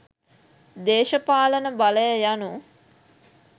දේශපාලන බලය යනු